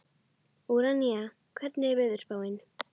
Úranía, hvernig er veðurspáin?